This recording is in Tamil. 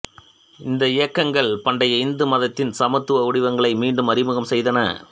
இந்த இயக்கங்கள் பண்டைய இந்து மதத்தின் சமத்துவ வடிவங்களை மீண்டும் அறிமுகம் செய்தன